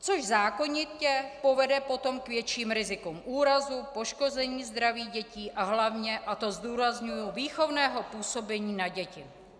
To zákonitě povede potom k větším rizikům úrazů, poškození zdraví dětí a hlavně, a to zdůrazňuji, výchovného působení na děti.